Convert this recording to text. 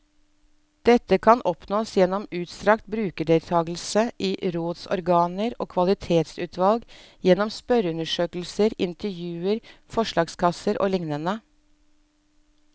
Dette kan oppnås gjennom utstrakt brukerdeltakelse i rådsorganer og kvalitetsutvalg, gjennom spørreundersøkelser, intervjuer, forslagskasser og liknende.